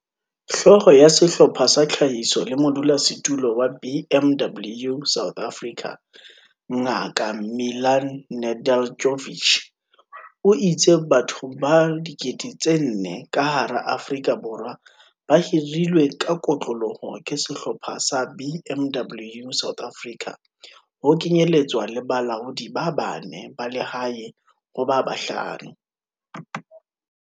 Hlooho ya Sehlopha sa Tlhahiso le modulasetulo wa BMW South Africa, Ngaka Milan Nedeljkovic, o itse batho ba 4 000 ka hara Afrika Borwa ba hirilwe ka kotloloho ke Sehlopha sa BMW South Africa, ho kenyeletswa le balaodi ba bane ba lehae ho ba bahlano.